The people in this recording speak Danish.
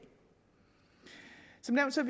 som